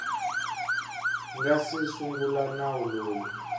nga si sungula nawu lowu